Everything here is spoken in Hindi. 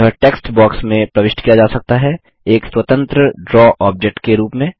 यह टेक्स्ट बॉक्स में प्रविष्ट किया जा सकता है एक स्वतंत्र ड्रा ऑब्जेक्ट के रूप में